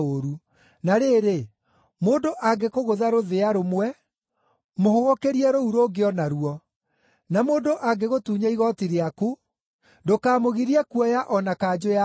Na rĩrĩ, mũndũ angĩkũgũtha rũthĩa rũmwe, mũhũgũkĩrie rũu rũngĩ o naruo. Na mũndũ angĩgũtunya igooti rĩaku, ndũkamũgirie kuoya o na kanjũ yaku.